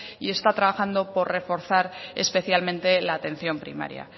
y está trabajando por reforzar especialmente la atención primaria